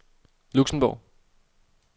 Luxembourg